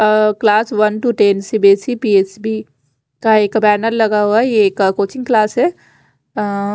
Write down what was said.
a class one to ten C B S T P S B का एक banner लगा हुआ है यह एक कोचिंग क्लास है अ--